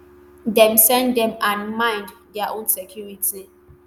dem send dem and mind um dia own security